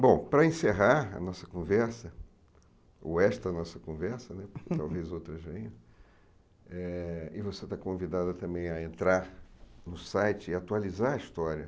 Bom, para encerrar a nossa conversa, ou esta nossa conversa, porque talvez outras venham, eh e você está convidada também a entrar no site e atualizar a história.